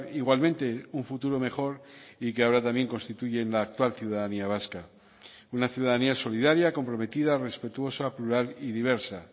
igualmente un futuro mejor y que ahora también constituyen la actual ciudadanía vasca una ciudadanía solidaria comprometida respetuosa plural y diversa